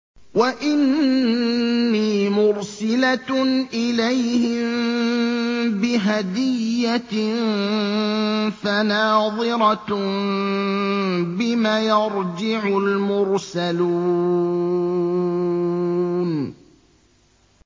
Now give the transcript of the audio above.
وَإِنِّي مُرْسِلَةٌ إِلَيْهِم بِهَدِيَّةٍ فَنَاظِرَةٌ بِمَ يَرْجِعُ الْمُرْسَلُونَ